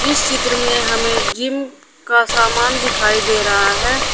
इस चित्र में हमें जिम का सामान दिखाई दे रहा है।